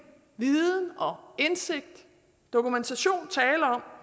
viden og indsigt og dokumentation tale om